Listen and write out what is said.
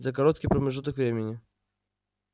за короткий промежуток времени